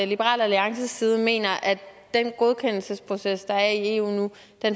liberal alliances side mener at den godkendelsesproces der er i eu nu